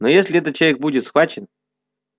но если этот человек будет схвачен